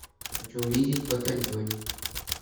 хочу увидеть батальонъ